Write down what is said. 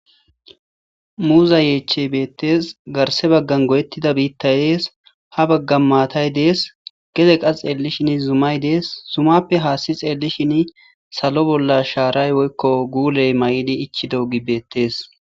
Muuza yechey beetes garse bagan goyetida biitay yees ha baggan maatay des gede qa xeelishin zumay des zumappe hassi xeelishini salo bolla sharay woyko guuley mayidi ichidogey beetes.